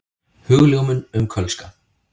Hugljómun um kölska.